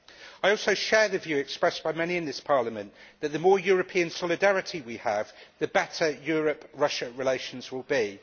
I also share the view expressed by many in this Parliament that, the more European solidarity we have, the better Europe Russia relations will be.